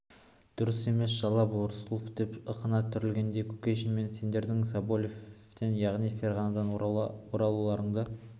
дұрыс емес жала бұл рысқұлов деп ышқына түрегелді кушекин мен сендердің соболевтен яғни ферғанадан оралуларыңды